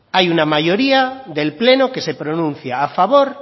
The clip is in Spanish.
hay una mayoría del pleno que se pronuncia a favor